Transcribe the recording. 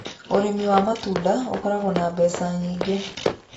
Ũrimi wa matunda ũkoragwo na mbeca nyingĩ.